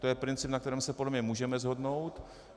To je princip, na kterém se podle mě můžeme shodnout.